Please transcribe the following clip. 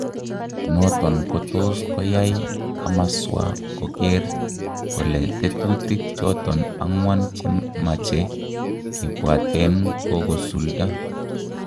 Noton kotos koyai komaswaa koker kole tetutik choton agwan chemache kibwaten kokosulda